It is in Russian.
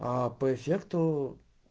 а по эффекту